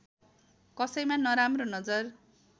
कसैमा नराम्रो नजर